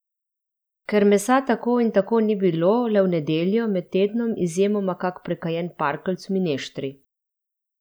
Ker mesa tako in tako ni bilo, le v nedeljo, med tednom izjemoma kak prekajen parkeljc v mineštri.